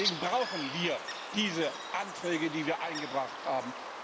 Deswegen brauchen wir diese Anträge, die wir eingebracht haben.